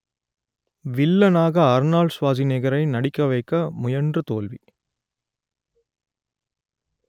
வில்லனாக அர்னால்ட் ஸ்வாஸ்நேகரை நடிக்க வைக்க முயன்று தோல்வி